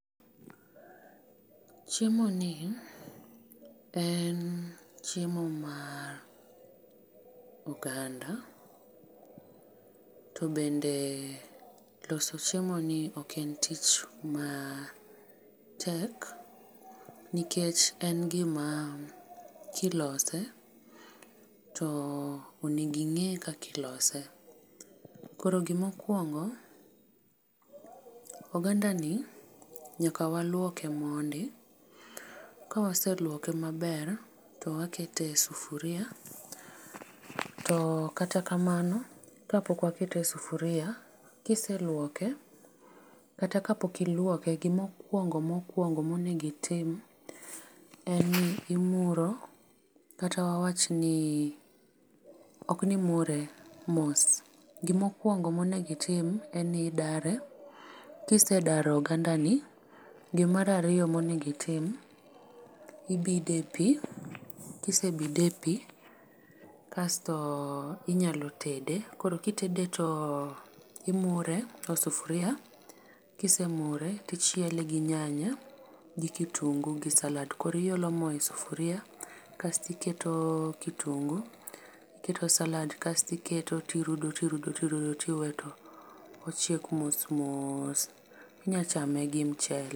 Chiemoni en chiemo mar oganda, to bende loso chiemoni oken tich matek nikech en gima kilose to oneging'e kakilose. Koro gimokwongo, ogandani nyaka waluoke mondi kawasuoloke maber to wakete e sufuria to kata kamano kapok wakete e sufuria kiseluoke kata kapok iluoke gimokwongo mokwongo monegitim en ni imuro kata wawachni oknimure mos, gimokwongo monegitim en ni idare, kisedaro ogandani gimarariyo monegitim ibide e pi, kisebide e pi kasto inyalo tede koro kitede to imure o sufuria kisemure tichiele gi nyanya gi kitungu gi salad. Koro iolo mo e sufuria kastiketo kitungu tiketo salad kastiketo tirudo tirudo tirudo tiwe to ochiek mos mos, inyachame gi mchele.